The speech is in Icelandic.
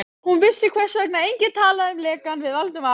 Hún vissi, hvers vegna enginn talaði um lekann við Valdimar.